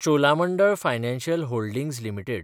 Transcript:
Cholamandalam financial holdings limited